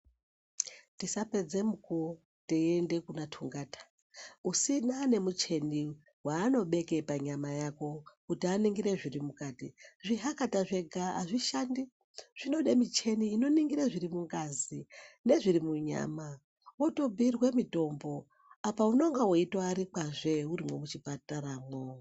Tisapedze mukuwo teiende kuna tungata kusina nemuchini waanobeke panyama pako kuti aningire zviri mukati zvihakata zvega azvishandi zvinode michini inoningire zviri mungazi nezviri munyama wotobhiirwe mutombo apa unenge weitoarikwazve urimwo muchipataramwo.